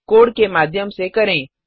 code के माध्यम से करें